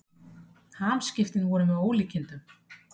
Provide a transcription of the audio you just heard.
Hamskiptin voru með ólíkindum.